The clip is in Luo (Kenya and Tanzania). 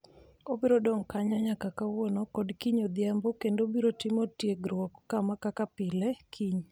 Obiro dong' kanyo nyaka kawuono kod kiny odhiambo kendo obiro timo tiegruok kaka pile kiny.